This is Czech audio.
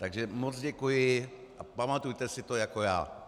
Takže moc děkuji a pamatujte si to jako já.